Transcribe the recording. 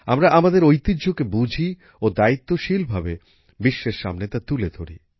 আমরা আমাদের ঐতিহ্যকে বুঝি ও দায়িত্বশীল ভাবে বিশ্বের সামনে তা তুলে ধরি